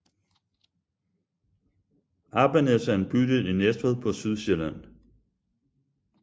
Appenæs er en bydel i Næstved på Sydsjælland